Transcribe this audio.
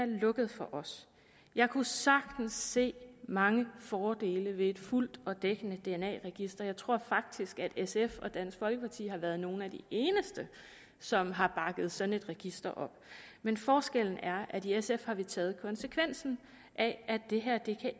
lukket for os jeg kunne sagtens se mange fordele ved et fuldt og dækkende dna register jeg tror faktisk sf og dansk folkeparti har været nogle af de eneste som har bakket sådan et register op men forskellen er at i sf har vi taget konsekvensen af at det her